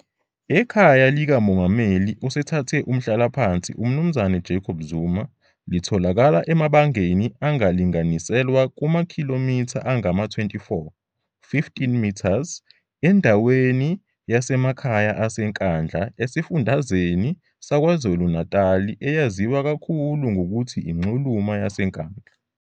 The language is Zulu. Ikhaya likaMongameli osethathe umhlalaphansi uMnumzane Jacob Zuma litholakala emabangeni angalinganiselwa kumakhilometha angama 24, 15m, endaweni yasemakhaya ase Nkandla esifundazweni saKwaZulu Natali eyaziwa kakhulu ngokuthi inxuluma yaseNkandla.